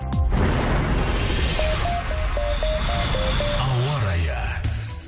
ауа райы